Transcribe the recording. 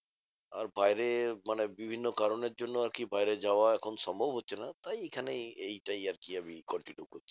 আর বাইরের মানে বিভিন্ন কারণের জন্য আরকি বাইরে যাওয়া এখন সম্ভব হচ্ছে না তাই এখানে এইটাই আরকি আমি continue করছি।